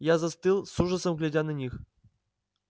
я застыл с ужасом глядя на них